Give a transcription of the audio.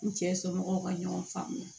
N cɛ somɔgɔw ka ɲɔgɔn faamuya